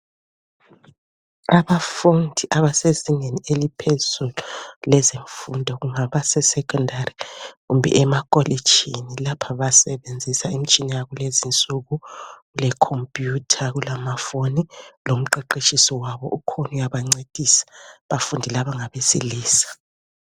Abafundi abasezingeni eliphezulu lezemfundo kungaba sesekhondari kumbe emakolitshini lapha basebenzisa imitshina yakulezinsuku lekhompuyuthaku kulama foni lomqeqetshisi wabo ukhona uyabancedisa, abafundi laba ngabesilisa.